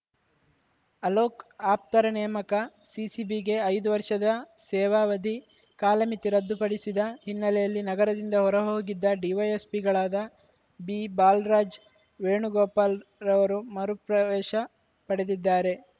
ಅಲೋಕ್‌ ಆಪ್ತರ ನೇಮಕ ಸಿಸಿಬಿಗೆ ಐದು ವರ್ಷದ ಸೇವಾವಧಿ ಕಾಲಮಿತಿ ರದ್ದುಪಡಿಸಿದ ಹಿನ್ನೆಲೆಯಲ್ಲಿ ನಗರದಿಂದ ಹೊರಹೋಗಿದ್ದ ಡಿವೈಎಸ್ಪಿಗಳಾದ ಬಿಬಾಲರಾಜ್‌ ವೇಣುಗೋಪಾಲ್‌ ರವರು ಮರು ಪ್ರವೇಶ ಪಡೆದಿದ್ದಾರೆ